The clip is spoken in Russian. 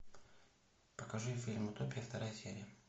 покажи фильм утопия вторая серия